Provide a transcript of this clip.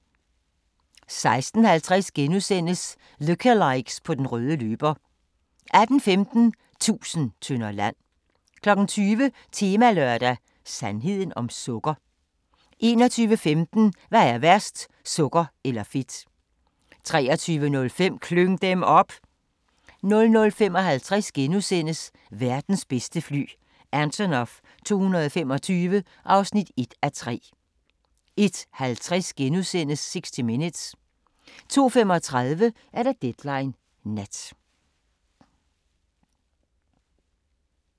16:50: Lookalikes på den røde løber * 18:15: Tusind tønder land 20:00: Temalørdag: Sandheden om sukker? 21:15: Hvad er værst – sukker eller fedt? 23:05: Klyng dem op! 00:55: Verdens bedste fly – Antonov 225 (1:3)* 01:50: 60 Minutes * 02:35: Deadline Nat